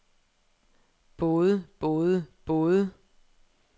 både både både